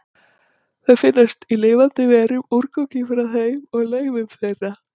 Þau finnast í lifandi verum, úrgangi frá þeim og leifum þeirra.